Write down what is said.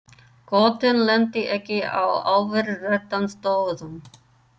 Götin lentu ekki á alveg réttum stöðum.